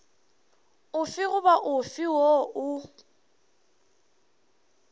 ofe goba ofe woo o